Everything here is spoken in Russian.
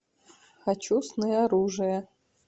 хочу сны оружия